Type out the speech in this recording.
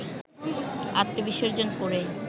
আত্মবিসর্জন করেই